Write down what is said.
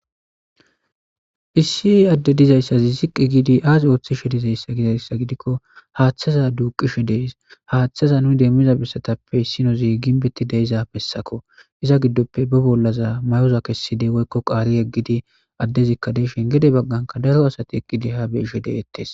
Phisii adde dizayssazi ziqqi giidi aas ooththishe dizayssa gizayssa gidikko haaththaza duuqishe dees haaththaza nu demmiza bessatappe issinozi ginbetti deiza bessako iza giddoppe ba bollaza mayoza kesside woykko qaari eggidi addezikka deeshen gede bagganka daro asati eqqidi ha beeshe deeyettes.